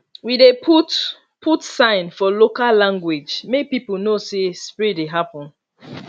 we dey put put sign for local language make people know say spray dey happen